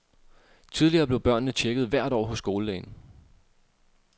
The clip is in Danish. Tidligere blev børnene checket hvert år hos skolelægen.